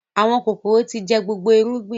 Àwọn kòkòrò tí jẹ gbogbo irúgbìn